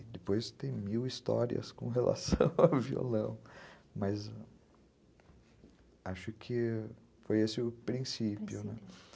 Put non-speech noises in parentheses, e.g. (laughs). E depois tem mil histórias com relação (laughs) ao violão, mas acho que foi esse o princípio, né?